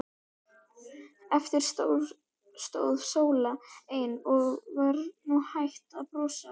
Eftir stóð Sóla ein og var nú hætt að brosa.